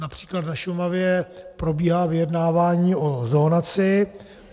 Například na Šumavě probíhá vyjednávání o zonaci.